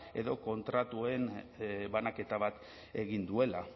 edo kontratuen banaketa bat egin duela